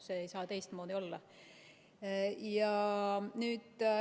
See ei saa teistmoodi olla.